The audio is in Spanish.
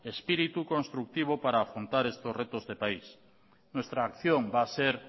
espíritu constructivo para afrontar estos retos de país nuestra acción va a ser